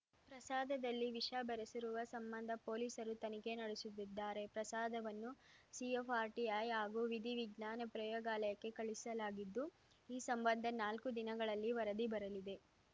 ಪ್ರಸಾದದಲ್ಲಿ ವಿಷ ಬೆರೆಸಿರುವ ಸಂಬಂಧ ಪೊಲೀಸರು ತನಿಖೆ ನಡೆಸುತ್ತಿದ್ದಾರೆ ಪ್ರಸಾದವನ್ನು ಸಿಎಫ್‌ಟಿಆರ್‌ಐ ಹಾಗೂ ವಿಧಿ ವಿಜ್ಞಾನ ಪ್ರಯೋಗಾಲಯಕ್ಕೆ ಕಳುಹಿಸಲಾಗಿದ್ದು ಈ ಸಂಬಂಧ ನಾಲ್ಕು ದಿನಗಳಲ್ಲಿ ವರದಿ ಬರಲಿದೆ